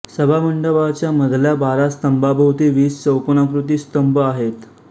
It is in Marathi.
सभामंडपाच्या मधल्या बारा स्तंभांभोवती वीस चौकोनाकृती स्तंभ आहेत